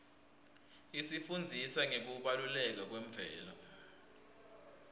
isifundzisa ngekubaluleka kwemvelo